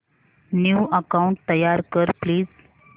new account तयार कर please